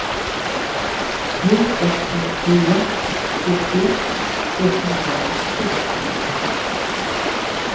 tre ett fem fyra sextioett etthundranittiosex